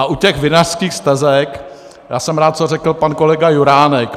A u těch vinařských stezek, já jsem rád, co řekl pan kolega Juránek.